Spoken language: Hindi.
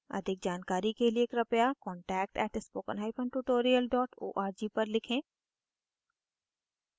अधिक जानकारी के लिए कृपया contact @spokentutorial org पर लिखें